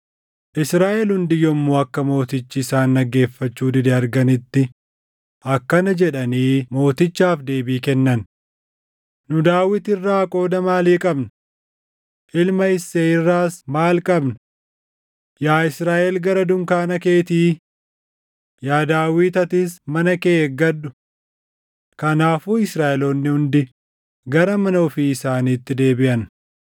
Israaʼel hundi yommuu akka mootichi isaan dhaggeeffachuu dide arganitti, akkana jedhanii mootichaaf deebii kennan: “Nu Daawit irraa qooda maalii qabna? Ilma Isseey irraas maal qabna? Yaa Israaʼel gara dunkaana keetii! Yaa Daawit atis mana kee eeggadhu!” Kanaafuu Israaʼeloonni hundi gara mana ofii isaaniitti deebiʼan.